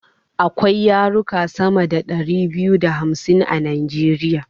Akwai yaruka sama da dari biyu da hamsin a najeriya